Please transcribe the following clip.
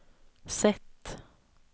sätt